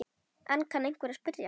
Enn kann einhver að spyrja.